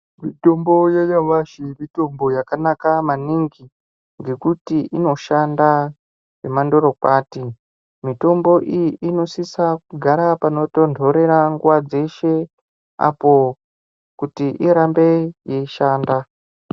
Mitombo yanyamashi mitombo yakanaka maningi ngekuti inoshanda zvemandorokwati. Mitombo iyi inosisa kugara panotondorera nguva dzeshe apo kuti irambe yeishanda.